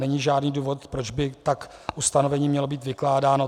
Není žádný důvod, proč by tak ustanovení mělo být vykládáno.